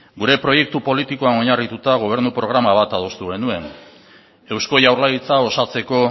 gure proiektu politikoan oinarrituta gobernu programa bat adostu genuen eusko jaurlaritza osatzeko